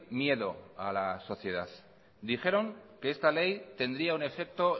miedo a la sociedad dijeron que esta ley tendría un efecto